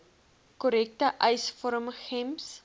korrekte eisvorm gems